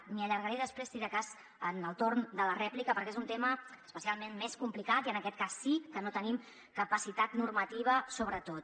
m’hi allargaré després si de cas en el torn de la rèplica perquè és un tema especialment més complicat i en aquest cas sí que no tenim capacitat normativa sobretot